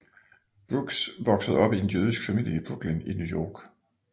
Brooks voksede op i en jødisk familie i Brooklyn i New York